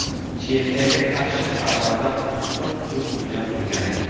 Chexiyaga qarshi xorvatlar tuppa-tuzuk o‘ynab turgandi.